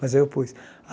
Mas aí eu pus.